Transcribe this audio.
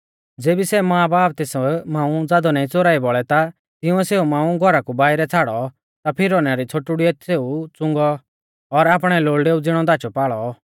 ज़ेबी सै मांबाब तेस मांऊ ज़ादौ नाईं च़ोराई बौल़ै ता तिऊंऐ सेऊ मांऊ घौरा कु बाइरै छ़ाड़ौ ता फिरौना री छ़ोटुड़ीऐ सेऊ च़ुंगौ और आपणै लोल़डेऊ ज़िणौ दाचौपाल़ौ